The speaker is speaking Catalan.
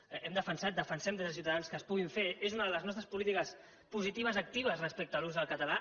ho hem defensat defensem des de ciutadans que es puguin fer és una de les nostres polítiques positives actives respecte a l’ús del català